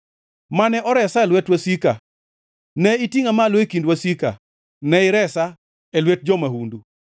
mane oresa e lwet wasika; ne itingʼa malo e kind wasika ne iresa e lwet jo-mahundu.